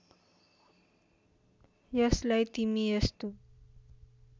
यसलाई तिमी यस्तो